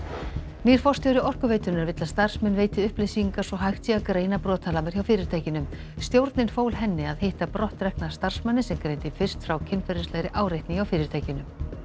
nýr forstjóri Orkuveitunnar vill að starfsmenn veiti upplýsingar svo hægt sé að greina brotalamir hjá fyrirtækinu stjórnin fól henni að hitta brottrekna starfsmanninn sem greindi fyrst frá kynferðislegri áreitni hjá fyrirtækinu